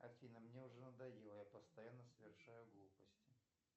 афина мне уже надоело я постоянно совершаю глупости